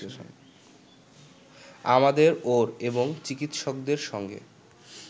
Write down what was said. আমাদের ওর এবং চিকিৎসকদের সঙ্গে